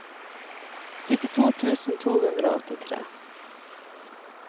syttito tusen to hundre og åttitre